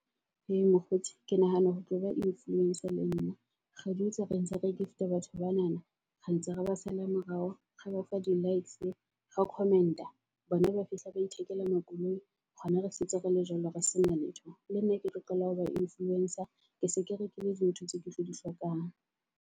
Hee mokgotsi ke nahana ho tlo ba influencer le nna. Ra di etsa re ntse re gift-a batho banana re ntse re ba sala morao ra ba fa di-likes, re comment-a bona ba fihla ba ithekela makoloi. Rona re setse re le jwalo re sena letho. Lenna ke tlo qala ho ba influencer, ke se ke rekile dintho tseo ke tlo di hlokang